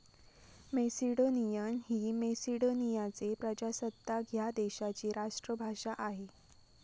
Macedonian ही मेसिडोनियाचे प्रजासत्ताक ह्या देशाची राष्ट्रभाषा आहे.